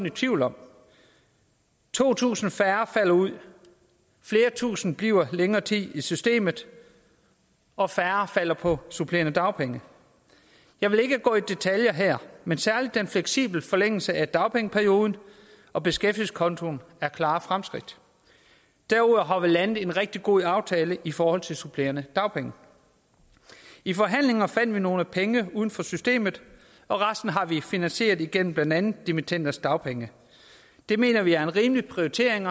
i tvivl om to tusind færre falder ud flere tusinde bliver længere tid i systemet og færre falder over på supplerende dagpenge jeg vil ikke gå i detaljer her men særlig den fleksible forlængelse af dagpengeperioden og beskæftigelseskontoen er klare fremskridt derudover har vi landet en rigtig god aftale i forhold til supplerende dagpenge i forhandlingerne fandt vi nogle penge uden for systemet og resten har vi finansieret igennem blandt andet dimittenders dagpenge det mener vi er en rimelig prioritering